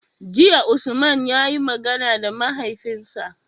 Jiya Usman yayi magana da mahaifinsa